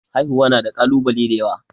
Haihuwa na da kalubale da yawa.